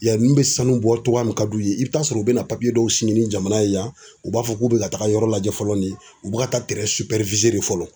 Yanni n bɛ sanu bɔ cogoya min na ka d'u ye i bɛ taa sɔrɔ u bɛna dɔw sigi ni jamana ye yan u b'a fɔ k'u bɛ ka taga yɔrɔ lajɛ fɔlɔ ni u bɛ ka taa de fɔlɔ.